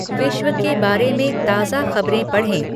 विश्व के बारे में ताजा खबरें पढ़ें